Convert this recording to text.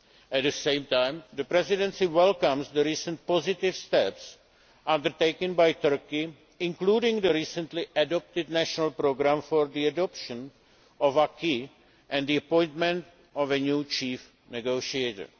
At the same time, the Presidency welcomes the recent positive steps undertaken by Turkey, including the recently adopted national programme for the adoption of the acquis and the appointment of the new chief negotiator.